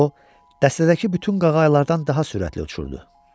O dəstədəki bütün qağayılardan daha sürətli uçurdu.